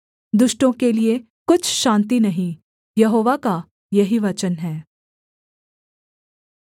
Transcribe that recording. दुष्टों के लिये कुछ शान्ति नहीं यहोवा का यही वचन है